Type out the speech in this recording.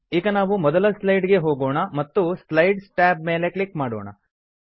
ಈಗ ನಾವು ಮೊದಲ ಸ್ಲೈಡ್ ಗೆ ಹೋಗೋಣ ಮತ್ತು ಸ್ಲೈಡ್ಸ್ ಟ್ಯಾಬ್ ಮೇಲೆ ಕ್ಲಿಕ್ ಮಾಡೋಣ